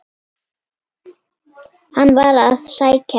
Hann var að sækja ljá.